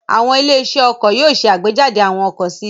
Àwọn ilé-iṣẹ́ ọkọ̀ yóò ṣe àgbéjáde àwọn ọkọ̀ sí i.